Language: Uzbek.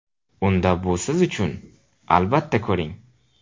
Unda bu siz uchun, albatta, ko‘ring!.